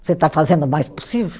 Você está fazendo o mais possível?